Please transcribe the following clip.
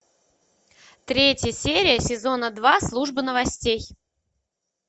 третья серия сезона два служба новостей